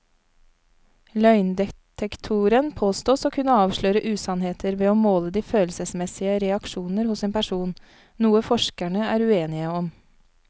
Løgndetektoren påstås å kunne avsløre usannheter ved å måle de følelsesmessige reaksjoner hos en person, noe forskerne er uenige om.